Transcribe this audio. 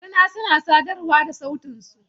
Rina suna sadarwa da sautin su.